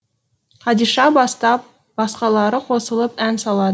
қадиша бастап басқалары қосылып ән салады